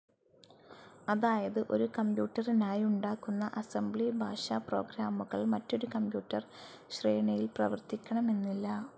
അതായത് ഒരു കംപ്യൂട്ടറിനായി ഉണ്ടാക്കുന്ന അസംബ്ലി ഭാഷ പ്രോഗ്രാമുകൾ മറ്റൊരു കമ്പ്യൂട്ടർ ശ്രേണിയിൽ പ്രവർത്തിക്കണമെന്നില്ല.